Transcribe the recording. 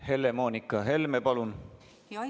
Helle-Moonika Helme, palun!